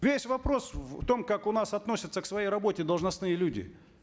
весь вопрос в том как у нас относятся к своей работе должностные люди